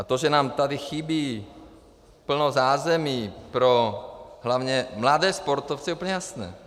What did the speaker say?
A to, že nám tady chybí plno zázemí pro hlavně mladé sportovce, je úplně jasné.